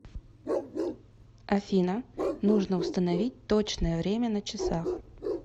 афина нужно установить точное время на часах